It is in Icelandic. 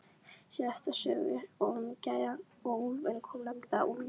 Síðast í sögunni um gæjann og úlfinn kom nefnilega úlfur.